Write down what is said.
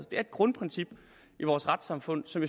et grundprincip i vores retssamfund som